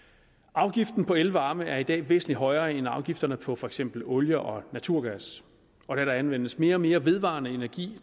afgiften på elvarme er i dag væsentlig højere end afgifterne på for eksempel olie og naturgas og da der anvendes mere og mere vedvarende energi